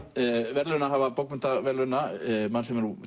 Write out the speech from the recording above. verðlaunahafa bókmenntaverðlauna mann sem er